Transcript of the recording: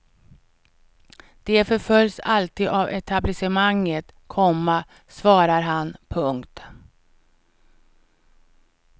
De förföljs alltid av etablissemanget, komma svarar han. punkt